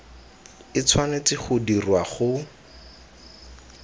e tshwanetse go dirwa go